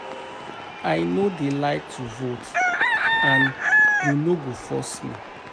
I no dey like to vote and you no go force me